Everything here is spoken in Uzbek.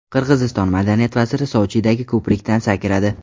Qirg‘iziston madaniyat vaziri Sochidagi ko‘prikdan sakradi.